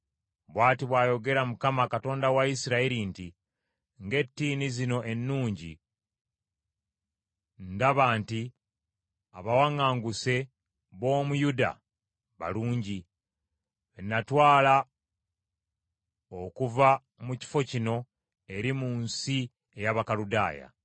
“Bw’ati bw’ayogera Mukama , Katonda wa Isirayiri nti, ‘Ng’ettiini zino ennungi, ndaba nti abawaŋŋanguse b’omu Yuda balungi, be natwala okuva mu kifo kino eri mu nsi ey’Abakaludaaya.